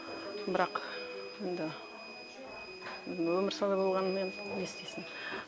бірақ енді өмір солай болғаннан енді не істейсің